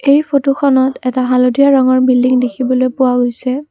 এই ফটোখনত এটা হালধীয়া ৰঙৰ বিল্ডিং দেখিবলৈ পোৱা গৈছে।